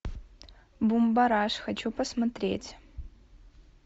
бумбараш хочу посмотреть